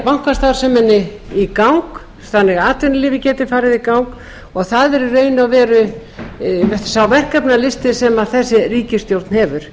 bankastarfseminni í gang þannig að atvinnulífið geti farið í gang það er í raun og veru sá verkefnalisti sem þessi ríkisstjórn hefur